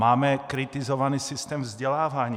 Máme kritizovaný systém vzdělávání.